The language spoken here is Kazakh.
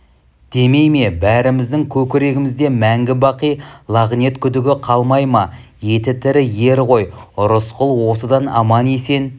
демей ме бәріміздің көкірегімізде мәңгі-бақи лағнет күдігі қалмай ма еті тірі ер ғой рысқұл осыдан аман-есен